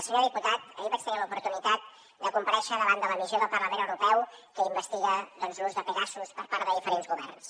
senyor diputat ahir vaig tenir l’oportunitat de comparèixer davant de la missió del parlament europeu que investiga l’ús de pegasus per part de diferents governs